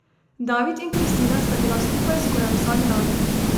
David in Kristina sta bila skupaj skoraj vsak dan.